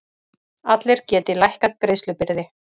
Allir geti lækkað greiðslubyrði